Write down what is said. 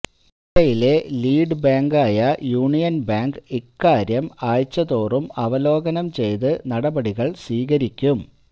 ജില്ലയിലെ ലീഡ് ബാങ്കായ Union Bank ഇക്കാര്യം ആഴ്ചതോറും അവലോകനം ചെയ്ത് നടപടികള് സ്വീകരിക്കും